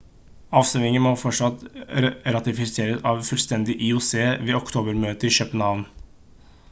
avstemmingen må fortsatt ratifiseres av fullstendig ioc ved oktober-møtet i københavn